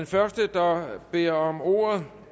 første der beder om ordet